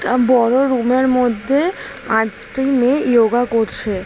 একটা বড় রুমের মধ্যে পাঁচটি মেয়ে ইয়োগা করছে।